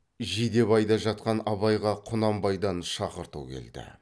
жидебайда жатқан абайға құнанбайдан шақырту келді